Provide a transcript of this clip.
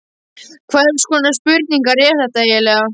Hvers konar spurningar eru þetta eiginlega?